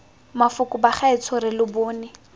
mafoko bagaetsho re lo bone